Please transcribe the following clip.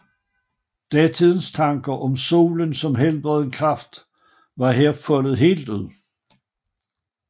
Datidens tanker om solens som helbredende kraft var her foldet helt ud